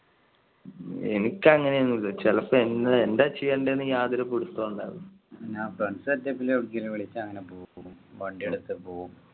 എനിക്ക് അങ്ങനെ ഒന്നും ഇല്ല ചിലപ്പോ എന്താ ചെയ്യണ്ടേ എന്ന് യാതൊരു പിടുത്തവും ഉണ്ടാവില്ല. ഞാൻ friends setup എവിടേക്കെങ്കിലും വിളിച്ച അങ്ങനെ പോകും വണ്ടി എടുത്ത് പോകും.